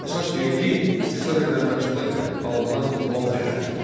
Əsas vergi istehsal edilən məhsula görə alınan Malcəhət idi.